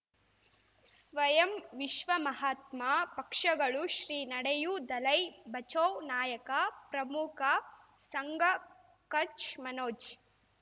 ಸ್ವಯಂ ವಿಶ್ವ ಮಹಾತ್ಮ ಪಕ್ಷಗಳು ಶ್ರೀ ನಡೆಯೂ ದಲೈ ಬಚೌ ನಾಯಕ ಪ್ರಮುಖ ಸಂಘ ಕಚ್ ಮನೋಜ್